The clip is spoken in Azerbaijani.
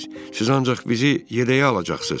Siz ancaq bizi yedəyə alacaqsız.